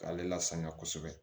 K'ale lasaniya kosɛbɛ